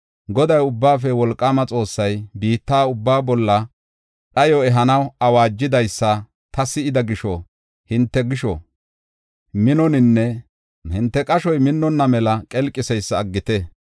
Goday, Ubbaafe Wolqaama Xoossay, biitta ubbaa bolla dhayo ehanaw awaajidaysa ta si7ida gisho hinte qashoy minnonna mela qelqiseysa aggite.